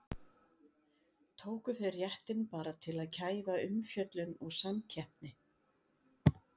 Tóku þeir réttinn bara til að kæfa umfjöllun og samkeppni?